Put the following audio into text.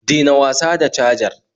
Dena wasa da cajar